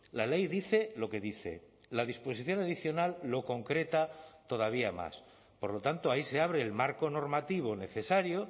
la ley dice lo que dice la disposición adicional lo concreta todavía más por lo tanto ahí se abre el marco normativo necesario